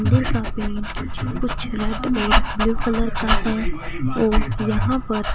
दे का पेंट कुछ रेड और ब्लू कलर का है और यहां पर--